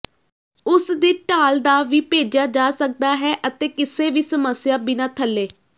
ਉਸ ਦੀ ਢਾਲ ਦਾ ਵੀ ਭੇਜਿਆ ਜਾ ਸਕਦਾ ਹੈ ਅਤੇ ਕਿਸੇ ਵੀ ਸਮੱਸਿਆ ਬਿਨਾ ਥੱਲੇ